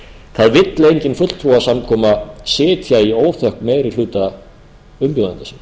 það vill engin fulltrúasamkoma sitja í óþökk meiri hluta umbjóðenda sinna